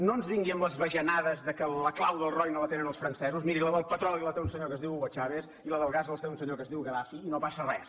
no ens vingui amb les bajanades que la clau del roine la tenen els francesos miri la del petroli la té un senyor que es diu hugo chávez i la del gas la té un senyor que es diu gaddafi i no passa res